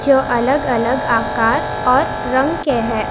जो अलग अलग आकार और रंग के है।